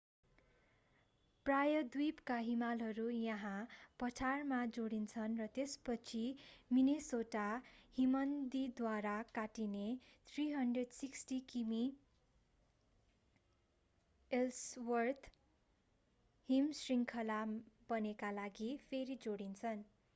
प्रायद्वीपका हिमालहरू यहाँ पठारमा जोडिन्छन् त्यसपछि मिनेसोटा हिमनदीद्वारा काटिने 360 किमी एल्सवर्थ हिमशृङ्खला बन्नका लागि फेरि जोडिन्छन्